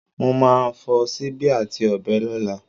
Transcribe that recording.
Mo má a fo síbí àti ọ̀bẹ lọ́lá